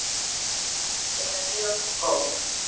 Hún er mjög góð!